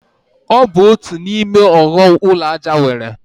Ọ bụ otu n'ime ọghọm ụlọ aja nwere.